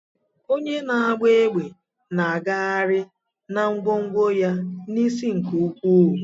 Onye na-agba egbe na-agagharị na ngwongwo ya n'isi nke ukwuu.